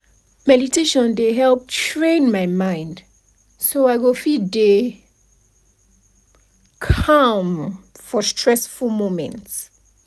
meditation dey help train my mind so i go fit dey calm for stressful moments